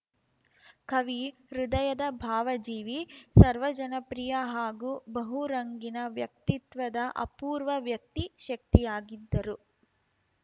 ಕವಿ ಹೃದಯದ ಭಾವಜೀವಿ ಸರ್ವಜನಪ್ರಿಯ ಹಾಗೂ ಬಹುರಂಗಿನ ವ್ಯಕ್ತಿತ್ವದ ಅಪೂರ್ವ ವ್ಯಕ್ತಿ ಶಕ್ತಿಯಾಗಿದ್ದರು